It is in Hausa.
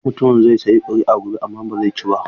Wancan mutumin zai sayi kuri'a gobe amma ba zai ci ba.